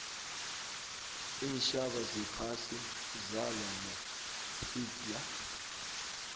iintjhaba zephasi zalwa no hitler